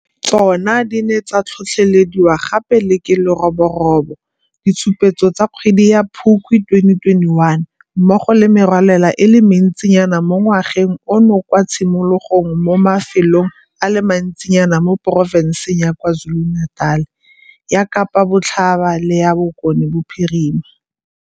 Tsona di ne tsa tlhotlhelediwa gape le ke leroborobo, ditshupetso tsa kgwedi ya Phukwi 2021, mmogo le merwalela e le mentsinyana mo ngwageng ono kwa tshimologong mo mafelong a le mantsinyana mo profofenseng ya KwaZuluNatal, ya Kapa Botlhaba le ya Bokone Bophirima.